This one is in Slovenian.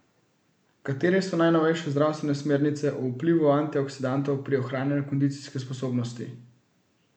Katere so najnovejše zdravstvene smernice o vplivu antioksidantov pri ohranjanju kondicijske sposobnosti?